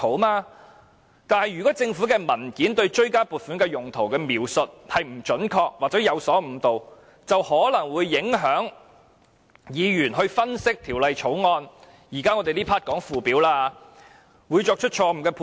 但是，要是政府文件對追加撥款的原因描述得不準確或有所誤導，便可能會影響議員對條例草案的分析——這環節討論的是附表——因而作出錯誤的判斷。